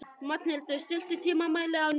Magnhildur, stilltu tímamælinn á níu mínútur.